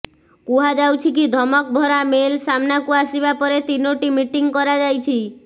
କୁହାଯାଉଛି କି ଧମକ ଭରା ମେଲ ସାମନାକୁ ଆସିବା ପରେ ତିନୋଟି ମିଟିଂ କରାଯାଇଛି